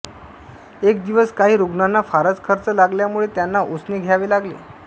एक दिवस काही रुग्णांना फारच खर्च लागल्यामुळे त्यांना उसने घ्यावे लागले